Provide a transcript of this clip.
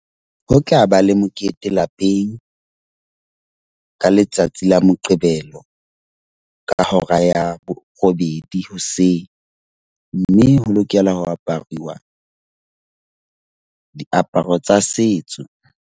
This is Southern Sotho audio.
Ho tlaba le mokete lapeng. Ka letsatsi la Moqebelo, ka hora ya borobedi hoseng. Mme ho lokela ho aparuwa diaparo tsa setso.